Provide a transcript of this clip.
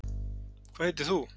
hvað heitir þú